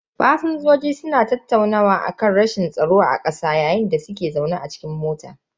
Fasinjojin suna tattaunawa akan rashin tsaro a kasar a yayin da suke zaune cikin mota.